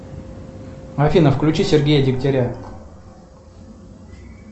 афина включи сергея дегтяря